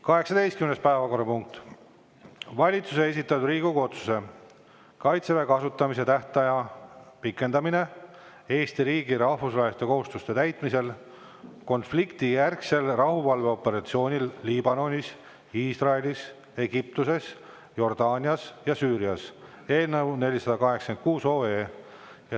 18. päevakorrapunkt: Vabariigi Valitsuse esitatud Riigikogu otsuse "Kaitseväe kasutamise tähtaja pikendamine Eesti riigi rahvusvaheliste kohustuste täitmisel konfliktijärgsel rahuvalveoperatsioonil Liibanonis, Iisraelis, Egiptuses, Jordaanias ja Süürias" eelnõu 486.